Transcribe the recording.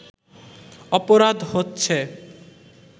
অপরাধ হচ্ছে